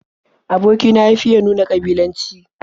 Aboki na ya fiya nuna ƙabilanci.